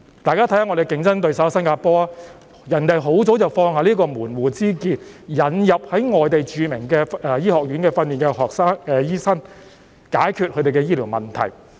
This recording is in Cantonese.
大家看看我們的競爭對手新加坡，他們很早已經放下門戶之見，引入在外地著名醫學院受訓的醫生，藉以解決他們的醫療問題。